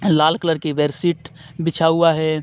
लाल colour की bedsheet बिछा हुआ है.